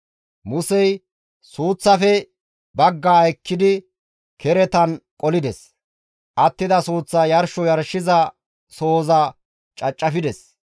Musey suuththaafe baggaa ekkidi keretan qolides; attida suuththaa yarsho yarshiza sohozan cacafides.